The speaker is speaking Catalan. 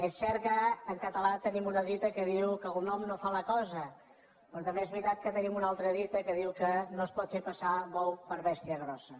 és cert que en català tenim una dita que diu que el nom no fa la cosa però també és veritat que tenim una altra dita que diu no es pot fer passar bou per bèstia grossa